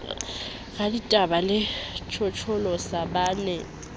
raditaba le tjhotjholosa ba ne